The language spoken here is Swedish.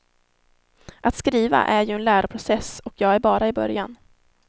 Att skriva är ju en läroprocess och jag är bara i början.